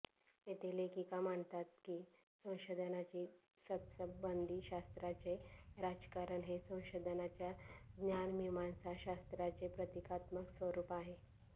येथे लेखिका मांडतात कि संशोधनाची सत्संबंधीशास्त्राचे राजकारण हे संशोधनाच्या ज्ञानमीमांसाशास्त्राचे प्रतिकात्मक स्वरूप आहे